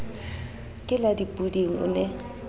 ke la dipoding o ne